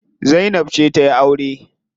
Zainab ce za tayi aure.